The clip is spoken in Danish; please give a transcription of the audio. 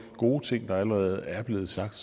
gode ting der allerede er blevet sagt